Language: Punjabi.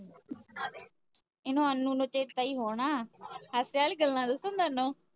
ਏਨੂੰ ਅਨੂ ਨੂੰ ਚੇਤਾ ਏ ਹੋਣਾ ਸੱਚ ਯਾਰ ਗੱਲਾਂ ਦਸਾਂ ਥੋਨੂੰ?